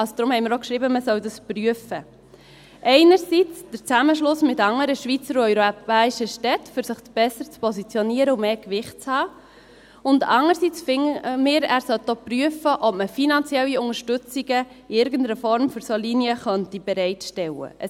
Deshalb haben wir auch geschrieben, man solle das prüfen, einerseits den Zusammenschluss mit anderen Schweizer und europäischen Städten, um sich besser zu positionieren und mehr Gewicht zu haben, und andererseits finden wir, der Regierungsrat sollte auch prüfen, ob wir finanzielle Unterstützungen für solche Linien bereitstellen können.